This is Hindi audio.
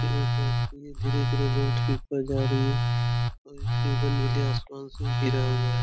धीरे-धीरे रोड के ऊपर जा रही है और इसके ऊपर नीले आसमान से घिरा हुआ है।